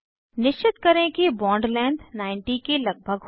निश्चित करें कि बॉन्ड लेंथ 90 के लगभग हो